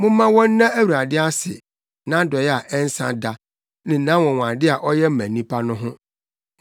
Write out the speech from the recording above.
Momma wɔnna Awurade ase, nʼadɔe a ɛnsa da ne nʼanwonwade a ɔyɛ ma nnipa no ho.